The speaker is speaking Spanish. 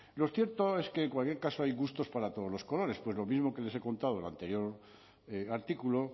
lo cierto es que en cualquier caso hay gustos para todos los colores pues lo mismo que les he contado en el anterior artículo